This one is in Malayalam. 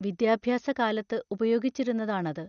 വിദ്യാഭ്യാസ കാലത്ത് ഉപയോഗിച്ചിരുന്നതാണത്.